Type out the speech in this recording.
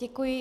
Děkuji.